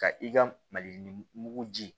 Ka i ka mali mugu ji